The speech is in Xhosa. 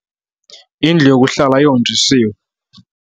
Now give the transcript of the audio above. Indlu yokuhlala ihonjisiwe.